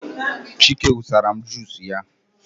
Chike wụsara m jusu ya